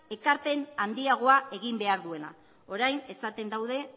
ekarpen handiagoa egin behar duela orain esaten daude